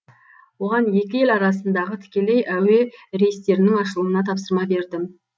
оған екі ел арасындағы тікелей әуе рейстерінің ашылуына тапсырма бердім